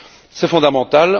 C'est fondamental.